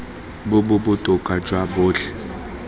bo bo botoka jwa botlhe